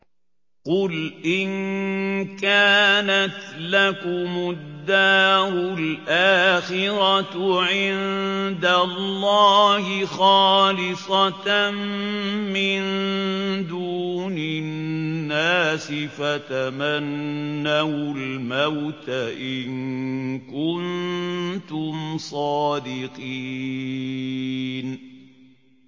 قُلْ إِن كَانَتْ لَكُمُ الدَّارُ الْآخِرَةُ عِندَ اللَّهِ خَالِصَةً مِّن دُونِ النَّاسِ فَتَمَنَّوُا الْمَوْتَ إِن كُنتُمْ صَادِقِينَ